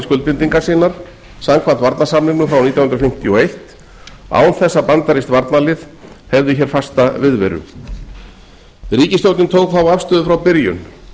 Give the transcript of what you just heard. skuldbindingar sínar samkvæmt varnarsamningnum frá nítján hundruð fimmtíu og einn án þess að bandarískt herlið hefði hér fasta viðveru ríkisstjórnin tók þá afstöðu frá byrjun